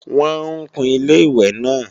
Wọ́n ń kun Ilé-ìwẹ̀ náà